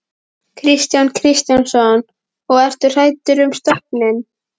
Kristján Kristjánsson: Og ertu hræddur um stofninn?